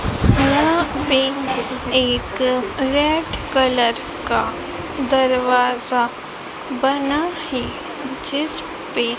यहां पे एक रेड कलर का दरवाजा बना है जिसपे--